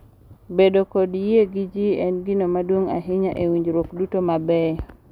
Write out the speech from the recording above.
Bedo kod yie gi ji en gino maduong’ ahinya e winjruok duto mabeyo,